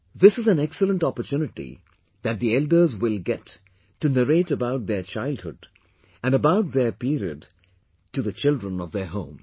This is an excellent opportunity that the elders will get to narrate about their childhood and about their period to the children of their home